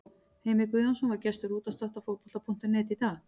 Heimir Guðjónsson var gestur útvarpsþáttar Fótbolta.net í dag.